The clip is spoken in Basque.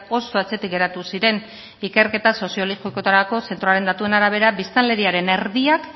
oso atzetik geratu ziren ikerketa soziologikoetarako zentroaren datuen arabera biztanleriaren erdiak